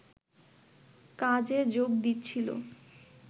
কাজে যোগ দিচ্ছিলো